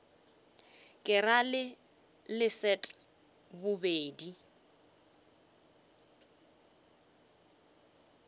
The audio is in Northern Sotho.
ke ra le leset bobedi